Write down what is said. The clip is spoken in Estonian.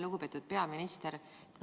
Lugupeetud peaminister!